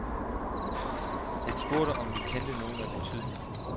Han spurgte, om vi kendte nogen af betydning.